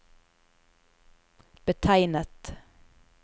betegnet